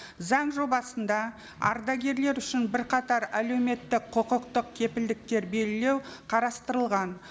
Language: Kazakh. заң жобасында ардагерлер үшін бірқатар әлеуметтік құқықтық кепілдіктер белгілеу қарастырылған